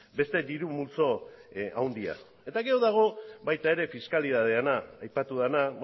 beste diru multzo handia eta gero dago baita ere fiskalitateana aipatu dena